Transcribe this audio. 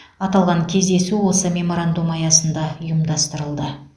аталған кездесу осы меморандум аясында ұйымдастырылды